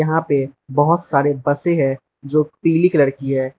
यहां पे बहोत सारे बसें है जो पीली कलर की है।